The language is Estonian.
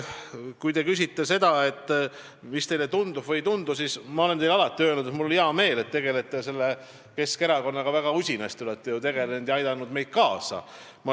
Kui te küsite selle kohta, mis teile tundub või ei tundu, siis ma olen teile alati öelnud, et mul on hea meel, et te tegelete väga usinasti Keskerakonnaga ja aitate meile kaasa.